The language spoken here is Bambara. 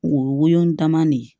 O ye woyo dama de ye